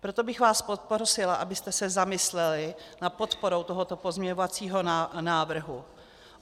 Proto bych vás poprosila, abyste se zamysleli nad podporou tohoto pozměňovacího návrhu.